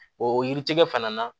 O yiritigɛ fana na